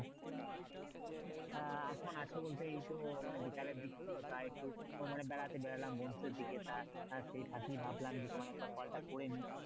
আহ এখন আছো বলতে এইতো মানে বিকেলের দিক তো তাই একটু মানে বেড়াতে বের হলাম বন্ধুদের দিকে তা আহ সেই ফাঁকেই ভাবলাম যে তোমায় একবার call টা করে নিই